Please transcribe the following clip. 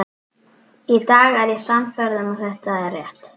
Í dag er ég sannfærð um að það er rétt.